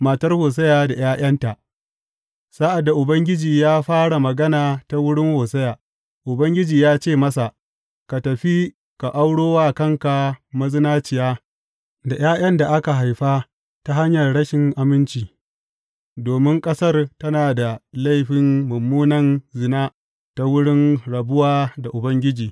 Matar Hosiya da ’ya’yanta Sa’ad da Ubangiji ya fara magana ta wurin Hosiya, Ubangiji ya ce masa, Ka tafi, ka auro wa kanka mazinaciya da ’ya’yan da aka haifa ta hanyar rashin aminci, domin ƙasar tana da laifin mummunan zina ta wurin rabuwa da Ubangiji.